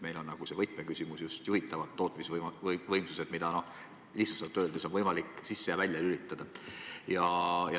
Meil on nagu võtmeküsimus just juhitavad tootmisvõimsused, mida lihtsustatult öeldes on võimalik sisse ja välja lülitada.